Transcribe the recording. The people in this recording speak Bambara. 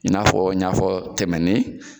I n'a fɔ n y'afɔ tɛmɛnin